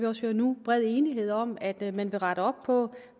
også høre nu bred enighed om at man vil rette op på